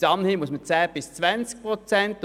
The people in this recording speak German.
Bis anhin betrug die Zuweisung 10 bis 20 Prozent.